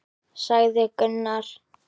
sagði Gunnar.